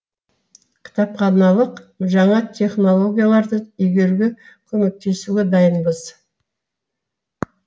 кітапханалық жаңа технологияларды игеруге көмектесуге дайынбыз